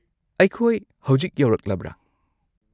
-ꯑꯩꯈꯣꯏ ꯍꯧꯖꯤꯛ ꯌꯧꯔꯛꯂꯕ꯭ꯔꯥ?